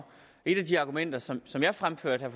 et af de argumenter som som jeg fremførte